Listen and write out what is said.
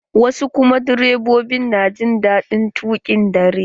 Wasu direbobin na jin daɗin tuƙin dare.